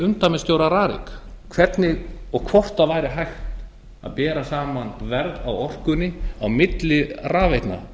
umdæmisstjóra rariks hvernig og hvort það væri hægt að bera saman verð á orkunni á milli rafveitna